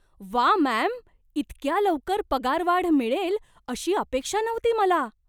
व्वा, मॅम! इतक्या लवकर पगारवाढ मिळेल अशी अपेक्षा नव्हती मला!